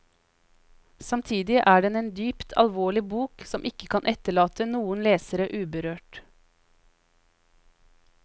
Samtidig er den en dypt alvorlig bok, som ikke kan etterlate noen leser uberørt.